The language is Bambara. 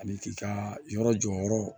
Ani k'i ka yɔrɔ jɔyɔrɔ